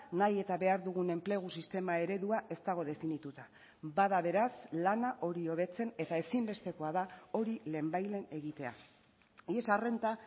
nahi eta behar dugun enplegu sistema eredua ez dago definituta bada beraz lana hori hobetzen eta ezinbestekoa da hori lehenbailehen egitea y esa renta